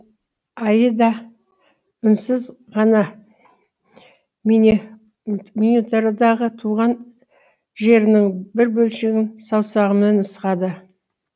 айыда үнсіз ғана миниатюрадағы туған жерінің бір бөлшегін саусағымен нұсқады